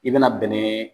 I bɛna bɛnɛ